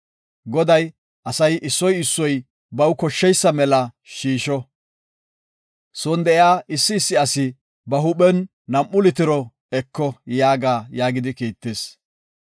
Goday, ‘Asay issoy issoy baw koshsheysa mela shiisho; son de7iya issi issi asi ba huuphen nam7u litiro eko’ yaaga” yaagidi kiittis.